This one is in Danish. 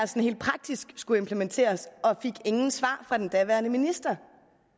helt praktisk skulle implementeres og fik ingen svar fra den daværende minister